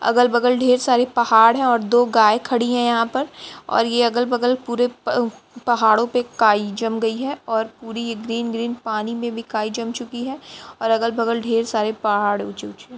अगल-बगल ढेर सारे पहाड़ हैं और दो गाय खड़ी हुई है यहाँ पर और ये अगल-बगल पूरे पहाड़ों पर काई जम गई हैं और पुरी ग्रीन ग्रीन पानी में भी काई जम चुकी है और अगल-बगल ढेर सारे पहाड़ ऊंचे-ऊंचे --